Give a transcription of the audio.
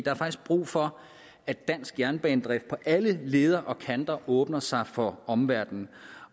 er faktisk brug for at dansk jernbanedrift på alle leder og kanter åbner sig for omverdenen